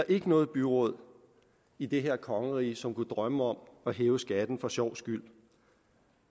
ikke nogen byråd i det her kongerige som kunne drømme om at hæve skatten for sjovs skyld